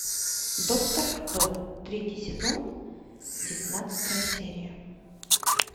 доктор кто третий сезон девятнадцатая серия